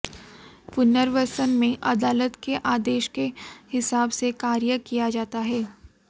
पुनर्वसन में अदालत के आदेश के हिसाब से कार्य किया जाता है